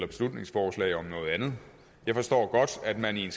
beslutningsforslag om noget andet jeg forstår godt at man i en